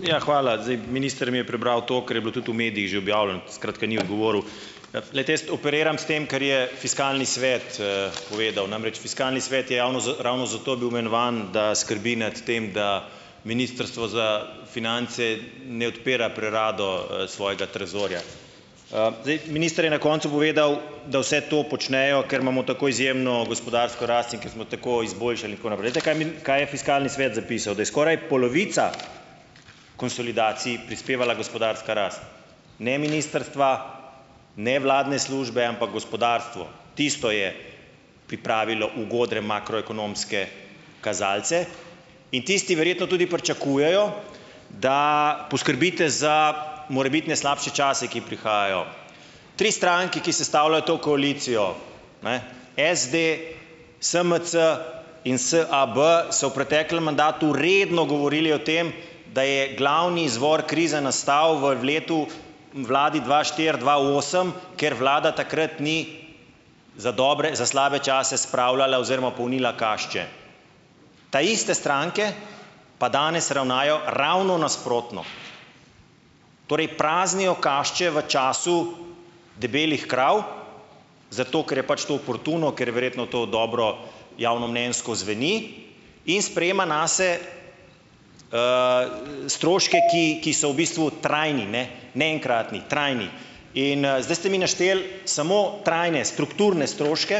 Ja, hvala. Zdaj minister mi je prebral to, kar je bilo tudi v medijih že objavljeno, skratka, ni odgovoril. Glejte, jaz operiram s tem, kar je fiskalni svet, povedal. Namreč, fiskalni svet je javno ravno zato bil imenovan, da skrbi nad tem, da ministrstvo za finance ne odpira prerado, svojega trezorja. Zdaj, minister je na koncu povedal, da vsi to počnejo, ker imamo tako izjemno gospodarsko rast in ker smo tako izboljšali in tako naprej. Veste kaj je kaj je fiskalni svet zapisal, da je skoraj polovica konsolidacij prispevala gospodarska rast, ne ministrstva, ne vladne službe, ampak gospodarstvo. Tisto je pripravilo ugodne makroekonomske kazalce in tisti verjetno tudi pričakujejo, da poskrbite za morebitne slabše čase, ki prihajajo. Tri stranke, ki sestavljajo to koalicijo, ne, SD, SMC in SAB, so v preteklem mandatu redno govorili o tem, da je glavni izvor krize nastal v letu, vladi dva štiri-dva osem, ker vlada takrat ni za dobre, za slabe čase spravljala oziroma polnila kašče. Ta iste stranke pa danes ravnajo ravno nasprotno. Torej, praznijo kašče v času debelih krav zato, ker je pač to oportuno, ker je verjetno to dobro javnomnenjsko zveni, in sprejema nase, stroške, ki ki so v bistvu trajni, ne, ne enkratni. Trajni. In zdaj ste mi našteli samo trajne strukturne stroške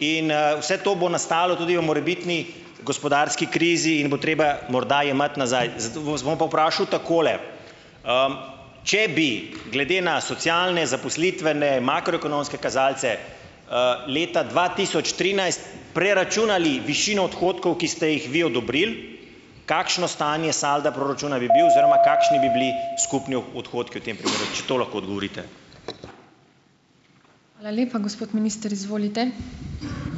in, vse to bo nastalo tudi ob morebitni gospodarski krizi in bo treba morda jemati nazaj. Zato vas bom pa vprašal takole. če bi glede na socialne zaposlitvene makroekonomske kazalce, leta dva tisoč trinajst preračunali višino odhodkov, ki ste jih vi odobrili, kakšno stanje salda proračuna bi bil oziroma kakšni bi bili skupni odhodki v tem primeru, če to lahko odgovorite.